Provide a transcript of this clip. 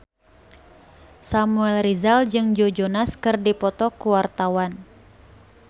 Samuel Rizal jeung Joe Jonas keur dipoto ku wartawan